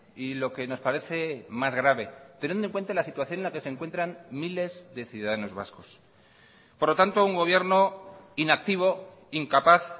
y lo que nos parece más grave teniendo en cuenta la situación en la que se encuentran miles de ciudadanos vascos por lo tanto un gobierno inactivo incapaz